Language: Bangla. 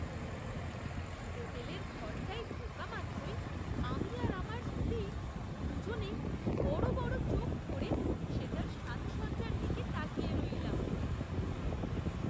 হোটেলের ঘরটায় ঢোকামাত্রই আমি আর আমার স্ত্রী দু'জনেই বড় বড় চোখ করে সেটার সাজসজ্জার দিকে তাকিয়ে রইলাম।